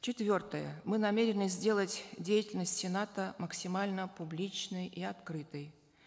четвертое мы намерены сделать деятельность сената максимально публичной и открытой